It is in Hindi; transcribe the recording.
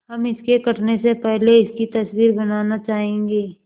हम इसके कटने से पहले इसकी तस्वीर बनाना चाहेंगे